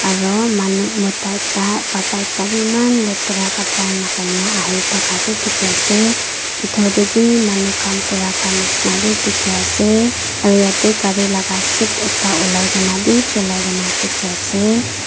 aru manu mota ekta baba ekta bi eman letara kapara lagai na ahi thaka bi dikhi ase pitor te bi manu khan kura khan nishi na bi dikhi ase aru ete gari la seat ekta ulai kene bi bhilai kene dikhi ase.